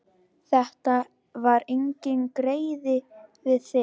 Þetta var enginn greiði við þig.